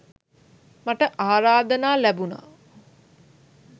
මට ආරාධනා ලැබුණා.